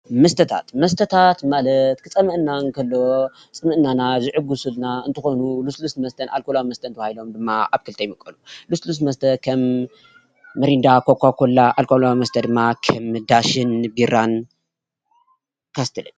መስተታት፦ መስተታት ማለት ክፀመኣና እንተሎ ፅምኢና ዝዕግሱለና እንትኮኑ ሉስሉስ መስተን ኣርኮላዊ መስተን ተባሂሎም ኣብ ክልተ ይምቀሉ ።ልስሉስ መስተ ከም ምርዳ፣ ኮካኮላ ኣርኮላዊ መስተ ድማ ከም ዳሽን ቢራን ካስትልን ።